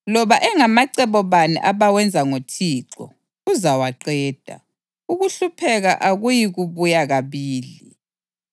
Loba engamacebo bani abawenza ngoThixo, uzawaqeda; ukuhlupheka akuyikubuya kabili.